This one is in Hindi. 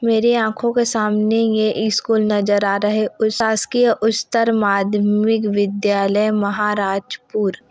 मेरे आंखों के सामने ये ये स्कूल नज़र आ रहा हैं उस शासकीय उच्चतर माध्यमिक विद्यालय महाराजपुर--